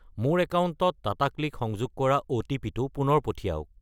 মোৰ একাউণ্টত টাটাক্লিক সংযোগ কৰা অ'টিপি-টো পুনৰ পঠিৱাওক।